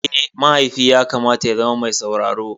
Eh, mahaifi yakamata ya zama me sauraro.